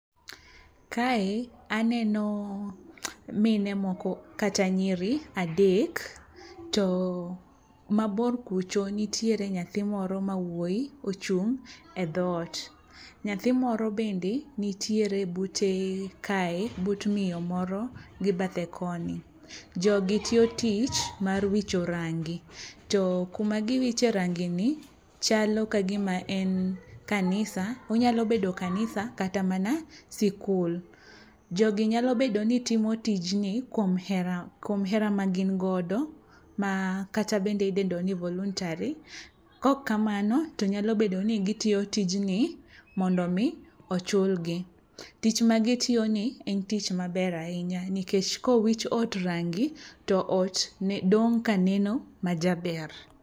Kae aneno mine moko kata nyiri adek to mabor kucho nitiere nyathi moro ma wuoyi ochung' e dhoot. Nyathi moro bende nitiere bute kae but miyo moro bathe koni. Jogi tiyo tich mar wicho rangi, to kuma giwiche rangini chalo ka gima en kanisa, onyalo bedo kanisa kata mana sikul. Jogi nyalo bedo ni timo tijni kuom hera kuom hera ma gin godo ma kata bende idendo ni voluntary, kok kamano to nyalo bedo ni gitiyo tijni mondo mi ochulgi. Tich ma gitiyoni en tich maber ahinya nikech kowich ot rangi to ot nen dong' ka neno ma jaber.